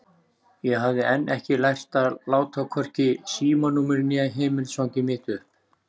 Ég hafði enn ekki lært að láta hvorki símanúmerið né heimilisfangið mitt uppi.